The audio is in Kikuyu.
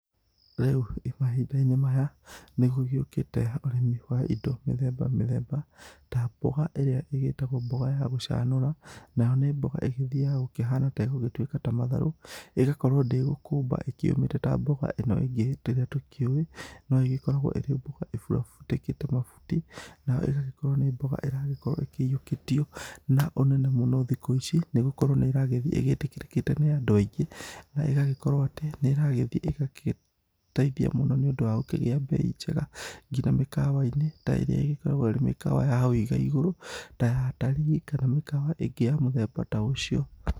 Rĩu mahĩnda-inĩ maya nĩ gũgĩũkĩte ũrĩmi wa ĩndo mĩthemba mĩthemba ta mboga ĩrĩa ĩgĩtagwo mboga ya gũcanũra na nĩ mboga ĩgĩthiyaga gũkĩhana ta ĩgũgĩtuĩka ta matharũ, ĩgakorwo ndĩgũkũmba ĩkĩũmĩte ta mboga ĩno ĩngĩ ĩrĩa tũkĩũĩ no ĩgĩkoragwo ĩrĩ mboga ĩbutĩkĩte mabuti nayo ĩgagĩkorwo nĩ mboga ĩragĩkorwo ĩkĩyiũkĩtio na ũnene mũno thikũ ici nĩgũkorwo nĩ ĩragĩthĩ ĩgĩtĩkĩrĩkĩte nĩ andũ aingĩ na ĩgagĩkorwo atĩ nĩ ĩragĩthĩ ĩgateithia mũno nĩ ũndũ wa gũkĩgĩa mbei njega ngina mĩkawainĩ ta ĩrĩa ĩgĩkoragwo ĩrĩ mĩkawa ya hau ĩgaĩgũrũ ta ya atarĩĩ kana mĩkwa ĩngĩ ya mũthemba ta ũcio.